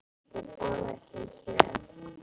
Ég borða ekki kjöt.